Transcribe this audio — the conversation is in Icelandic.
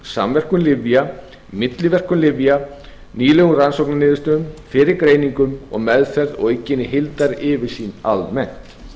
samverkun lyfja milliverkun lyfja nýlegum rannsóknarniðurstöðum fyrirgreiningum og meðferð á aukinni heildaryfirsýn almennt